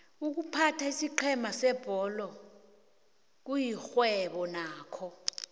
iykuphatha isiqhema sebholo kuyixhwebo nakho